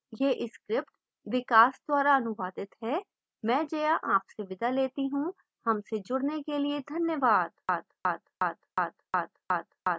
यह script विकास द्वारा अनुवादित है मैं जया अब आपसे विदा लेती हूँ हमसे जुडने के लिए धन्यवाद